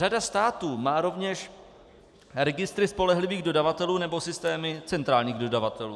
Řada států má rovněž registry spolehlivých dodavatelů nebo systémy centrálních dodavatelů.